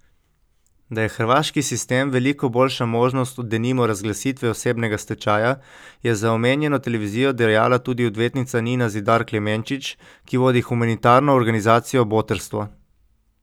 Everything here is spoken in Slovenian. Da je hrvaški sistem veliko boljša možnost od denimo razglasitve osebnega stečaja, je za omenjeno televizijo dejala tudi odvetnica Nina Zidar Klemenčič, ki vodi humanitarno organizacijo Botrstvo.